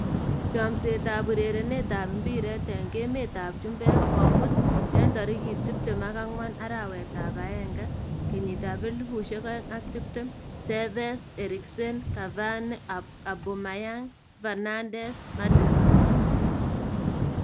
Chomset ab urerenet ab mbiret eng emet ab chumbek komuut 24.01.2020: Tevez, Eriksen, Cavani, Aubameyang, Fernandes, Maddison